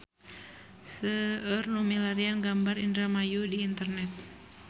Seueur nu milarian gambar Indramayu di internet